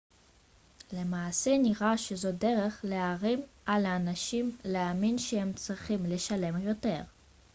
למעשה נראה שזו דרך להערים על אנשים להאמין שהם צריכים לשלם יותר